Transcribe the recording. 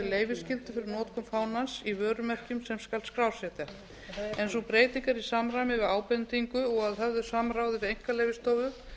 leyfisskyldu fyrir notkun fánans í vörumerkjum sem skal skrásetja en sú breyting er í samræmi við ábendingu og að höfðu samráði við einkaleyfastofu